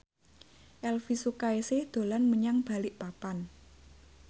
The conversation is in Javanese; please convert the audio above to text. Elvy Sukaesih dolan menyang Balikpapan